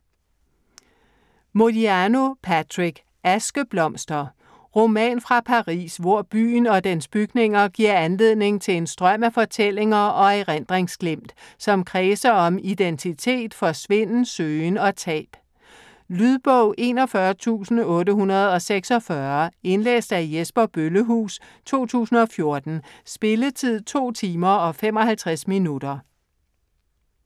Modiano, Patrick: Askeblomster Roman fra Paris, hvor byen og dens bygninger giver anledning til en strøm af fortællinger og erindringsglimt, som kredser om identitet, forsvinden, søgen og tab. Lydbog 41846 Indlæst af Jesper Bøllehuus, 2014. Spilletid: 2 timer, 55 minutter.